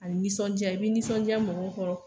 A ni sɔnja i b'i nisɔnja mɔgɔw kɔrɔ